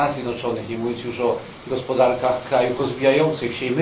w Stanach Zjednoczonych, nie mówiąc już o gospodarkach krajów rozwijających się.